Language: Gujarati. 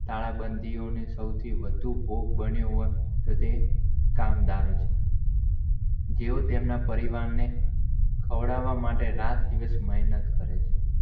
કાળબંધીઓને સૌથી, વધુ ભોગ બન્યો હોય, તો ટે કામદારો છે. જેઓ તેમના પરિવારોને ખવડાવવા માટે રાત દિવસ મેહનત કરે છે.